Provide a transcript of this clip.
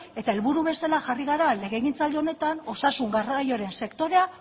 eta helburu bezala jarri gara legegintzaldi honetan osasun garraioaren sektorea